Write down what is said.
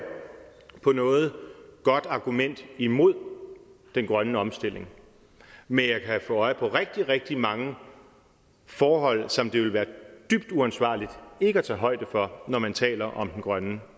på noget godt argument imod den grønne omstilling men jeg kan få øje på rigtig rigtig mange forhold som det vil være dybt uansvarligt ikke at tage højde for når man taler om den grønne